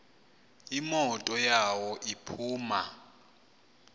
imoto yawo iphuma